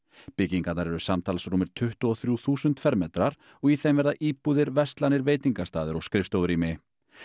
byggingarnar eru samtals rúmir tuttugu og þrjú þúsund fermetrar og í þeim verða íbúðir verslanir veitingastaðir og skrifstofurými